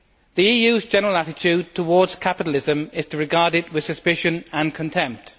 The EU's general attitude towards capitalism is to regard it with suspicion and contempt.